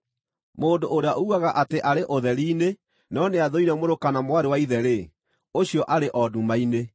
Mũndũ ũrĩa uugaga atĩ arĩ ũtheri-inĩ no nĩathũire mũrũ kana mwarĩ wa ithe-rĩ, ũcio arĩ o nduma-inĩ.